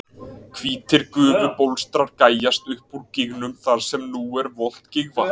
hvítir gufubólstrar gægjast upp úr gígnum þar sem nú er volgt gígvatn